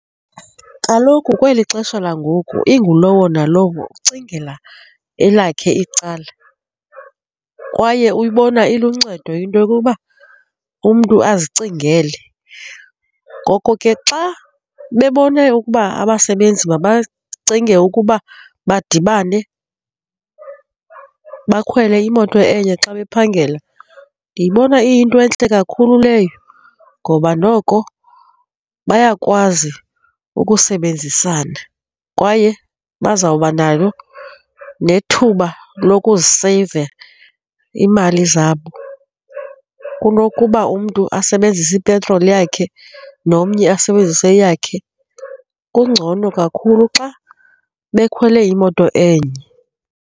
Kaloku kweli xesha langoku ingulowo nalowo ucingela elakhe icala kwaye uyibona iluncedo into yokuba umntu azicingele. Ngoko ke, xa bebona ukuba abasebenzi mabacinge ukuba badibane, bakhwele imoto enye xa bephangela, ndiyibona iyinto entle kakhulu leyo ngoba noko bayakwazi ukusebenzisana kwaye bazawuba nayo nethuba lokuseyiva iimali zabo kunokuba umntu asebenzise ipetroli yakhe nomnye asebenzise yakhe, kungcono kakhulu xa bekhwele imoto enye.